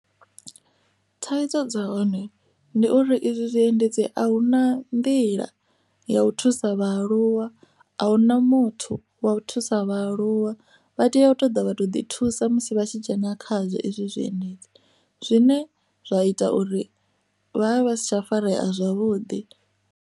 Thaidzo dza hone ndi uri izwi zwiendedzi a hu na nḓila ya u thusa vhaaluwa a hu na muthu wa u thusa aluwa vha tea u ṱoḓa vha to ḓi thusa musi vha tshi dzhena kha zwezwi zwiendedzi zwine zwa ita uri vha vha vha si tsha farea zwavhuḓi.